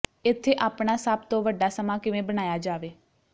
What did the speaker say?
ਇੱਥੇ ਆਪਣਾ ਸਭ ਤੋਂ ਵੱਡਾ ਸਮਾਂ ਕਿਵੇਂ ਬਣਾਇਆ ਜਾਵੇ